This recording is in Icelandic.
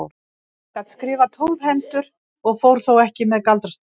Hann gat skrifað tólf hendur og fór þó ekki með galdrastafi.